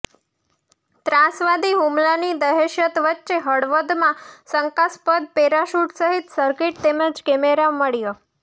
ત્રાસવાદી હૂમલાની દહેશત વચ્ચે હળવદમાં શંકાસ્પદ પેરાશૂટ સહિત સર્કિટ તેમજ કેમેરો મળ્યાં